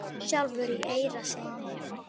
sjálfur í eyra syni?